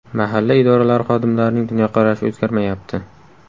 Mahalla idoralari xodimlarining dunyoqarashi o‘zgarmayapti.